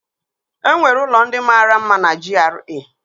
Enwere ụlọ ndị mara mma na GRA?